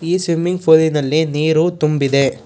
ಈ ಸ್ವಿಮ್ಮಿಂಗ್ ಫೂಲಿನಲ್ಲಿ ನೀರು ತುಂಬಿದೆ.